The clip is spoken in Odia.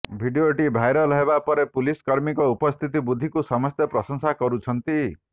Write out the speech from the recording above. ଭିଡ଼ିଓଟି ଭାଇରାଲ ହେବା ପରେ ପୁଲିସକର୍ମୀଙ୍କ ଉପସ୍ଥିତ ବୁଦ୍ଧିକୁ ସମସ୍ତେ ପ୍ରଶଂସା କରୁଛନ୍ତି